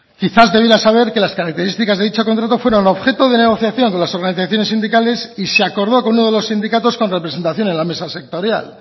quizás debería saber que las características de dicho contrato fueron objeto de negociación con las organizaciones sindicales y se acordó con uno de los sindicatos con representación en la mesa sectorial